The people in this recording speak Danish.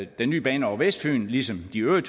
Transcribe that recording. den nye bane over vestfyn ligesom de øvrige